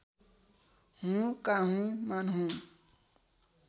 हुँ काहुँ मान्हुँ